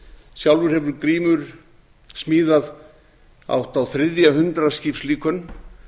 sjálfur hefur grímur smíðað hátt á þriðja hundrað skipslíkön